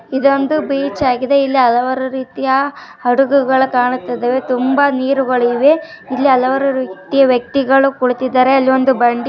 ಇದೊಂದು ಬೀಚ್ ಆಗಿದೆ ಇಲ್ಲಿ ಹಲವಾರು ರೀತಿಯ ಹಡಗುಗಳು ಕಾಣುತ್ತಿದ್ದವೇ ತುಂಬ ನೀರುಗಳಿವೆ ಇಲ್ಲಿ ಹಲವಾರು ರೀತಿಯ ವ್ಯಕ್ತಿಗಳು ಕುಳಿತಿದ್ದಾರೆ ಅಲ್ಲಿ ಬಂಡಿ __